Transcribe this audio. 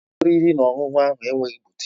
Ụlọ oriri na ọṅụṅụ ahụ enweghị butịk